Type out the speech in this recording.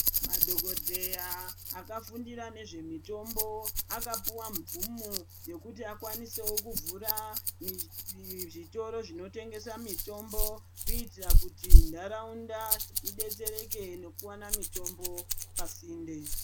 Madhokodheya akafundira nezvemutombo akapuwa mvumo yekuti akwanisewo kuvhura zvitoro zvinotengesa mitombo kuitira kuti ntaraunda idetsereke nekuwana mitombo pasinde